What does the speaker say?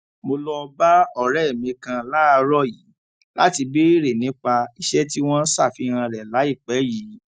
mo lọ bá òré mi kan láàárò yìí láti béèrè nípa iṣẹ tí wọn ṣàfihàn rẹ láìpé yìí